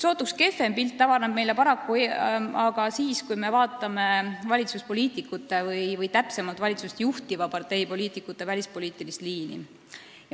Sootuks kehvem pilt avaneb meile paraku siis, kui me vaatame valitsuspoliitikute, täpsemalt valitsust juhtiva partei poliitikute välispoliitilist liini.